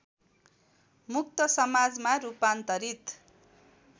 मुक्त समाजमा रूपान्तरित